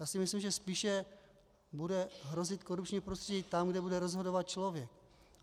Já si myslím, že spíše bude hrozit korupční prostředí tam, kde bude rozhodovat člověk.